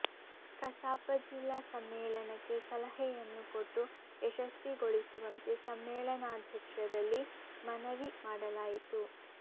ಕಸಾಪ ಜಿಲ್ಲಾ ಸಮ್ಮೇಳನಕ್ಕೆ ಸಲಹೆಯನ್ನು ಕೊಟ್ಟು ಯಶಸ್ವಿಗೊಳಿಸುವಂತೆ ಸಮ್ಮೇಳನಾಧ್ಯಕ್ಷರಲ್ಲಿ ಮನವಿ ಮಾಡಲಾಯಿತು